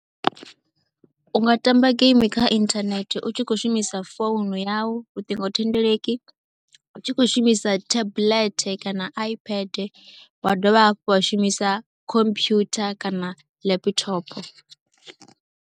U nga tamba geimi kha inthanethe u tshi khou shumisa founu yau luṱingothendeleki, u tshi khou shumisa tablet kana Ipad, wa dovha hafhu wa shumisa computer kana laphithopho.